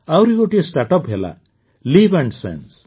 ଆହୁରି ଗୋଟିଏ ଷ୍ଟାର୍ଟଅପ ହେଲା ଲିଭ୍ନସେନ୍ସ